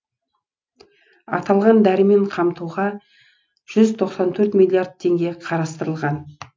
аталған дәрімен қамтуға жүз тоқсан төрт миллиард теңге қарастырылған